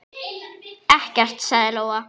Ekkert, sagði Lóa.